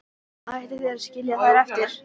Ætlið þið að skilja þær eftir?